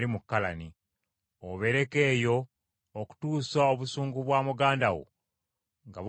obeereko eyo, okutuusa obusungu bwa muganda wo nga bukkakkanye.